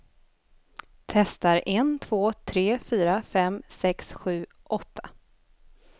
Testar en två tre fyra fem sex sju åtta.